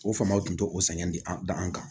O faamaw tun t'o sɛgɛn di an da an kan